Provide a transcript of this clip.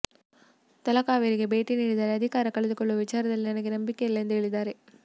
ತಲಕಾವೇರಿಗೆ ಭೇಟಿ ನೀಡಿದರೆ ಅಧಿಕಾರ ಕಳೆದುಕೊಳ್ಳುವ ವಿಚಾರದಲ್ಲಿ ನನಗೆ ನಂಬಿಕೆ ಇಲ್ಲ ಎಂದು ಹೇಳಿದ್ದಾರೆ